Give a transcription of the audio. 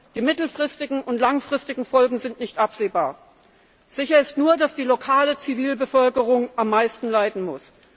Die mittelfristigen und langfristigen Folgen sind nicht absehbar. Sicher ist nur, dass die lokale Zivilbevölkerung am meisten leiden muss.